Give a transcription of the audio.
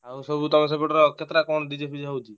ଆଉ ସବୁ ତମ ସେପଟର କେତେଟା କଣ DJ ଫିଜେ ହଉଛି?